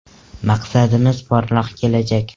Maqsadimiz porloq kelajak!